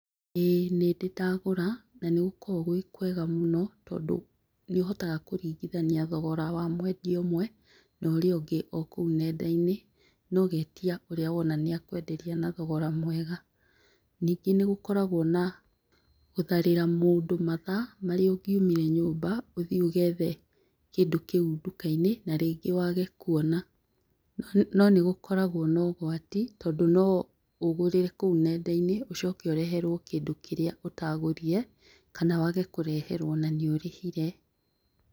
Ĩĩ nĩndĩ ndagũra nanĩgũkoragwo gũĩkwega mũno tondũ nĩ ũhotaga kũringithania thogora wa mwendia ũmwe na ũrĩa ũngĩ ũkũu nenda-inĩ, nogetia ũrĩa wona nĩakwenderia na thogora mwega. Nyingĩ nĩũkoragwa na gũtharĩra mũndũ mathaa marĩa ũngiũmire nyũmba ũthiĩ ũgethe kĩndũ kĩu nduka-inĩ narĩngĩ wage kwona. No nĩgũkoragwo na ũgwati tondũ noũgũrĩre kũu nenda-inĩ, ũcoke ũreherwo kĩndũ kĩrĩa ũtagũrire kana wage kũreherwo na nĩ ũrĩhire.